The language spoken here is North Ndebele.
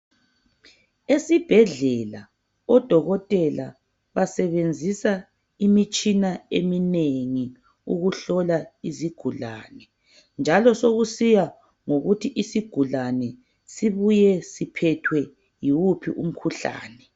Esibhedlela odokotela basebenzisa imitshina eminengi ukuhlola izigulane. Njalo sokusiya ngokuthi isigulane sibuye siphethwe yiwuphi umkhuhlane.